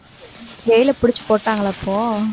jail அ புடிச்சுட்டு போட்டாங்களா இப்போ